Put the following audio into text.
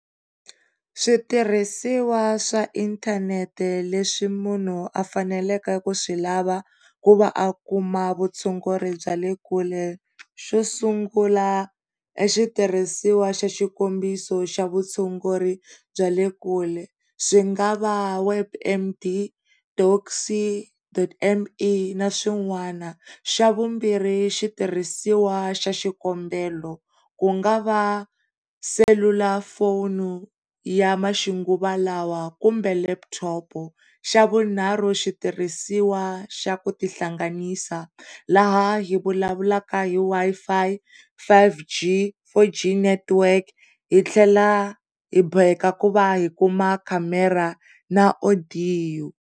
Switirhisiwa swa inthanete leswi munhu a faneleke ku swi lava ku va a kuma vutshunguri bya le kule, xo sungula i xitirhisiwa xa xikombiso xa vutshunguri bya le kule swi nga va WebMD doc C dot M E na swin'wana xa vumbirhi switirhisiwa xikombelo ku nga va selulafoni ya maxinguvalawa kumbe leputhopo xa vunharhu xitirhisiwa xa ku tihlanganisa laha hi nga vulavulaka ka hi Wi-Fi, five G, four G network hi tlhela hi boheka hi kuma khamera na odiyo.